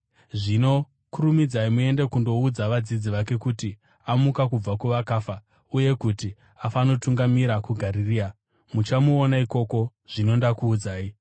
Zvino kurumidzai muende kundoudza vadzidzi vake kuti, ‘Amuka kubva kuvakafa uye kuti afanotungamira kuGarirea. Muchanomuona ikoko.’ Zvino ndakuudzai.”